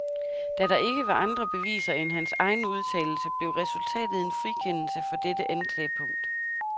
Da der ikke var andre beviser end hans egen udtalelse, blev resultatet en frikendelse for dette anklagepunkt.